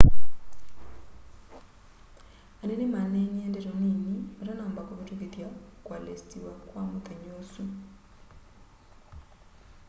anene maneenie ndeto nini matanamba kĩvĩtũkĩtha kualesitiwa kwa mũthenya ũsu